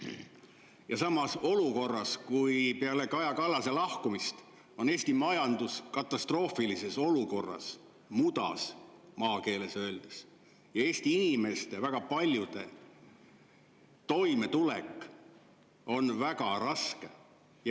Ja seda olukorras, kus peale Kaja Kallase lahkumist on Eesti majandus katastroofilises seisus, maakeeli öeldes mudas, ja väga paljude Eesti inimeste toimetulek on väga raske.